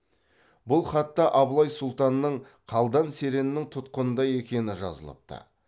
бұл хатта абылай сұлтанның қалдан сереннің тұтқынында екені жазылыпты